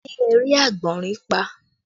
Ṣé ẹ rí àgbọ̀nrín pa?